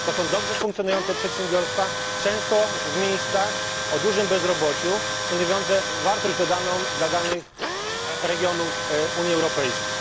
To są dobrze funkcjonujące przedsiębiorstwa, często w miejscach o dużym bezrobociu, stanowiące wartość dodaną dla danych regionów Unii Europejskiej.